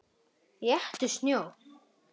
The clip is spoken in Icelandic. Éttu snjó.